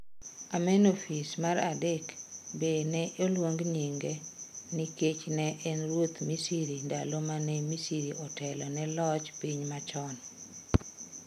Amenophis mar adek be ne oluong nyinge nikech ne en ruoth Misri ndalo mane Misri Otelo ne loch piny machon.